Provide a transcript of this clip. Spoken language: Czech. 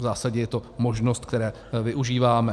V zásadě je to možnost, které využíváme.